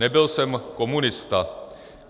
Nebyl jsem komunista.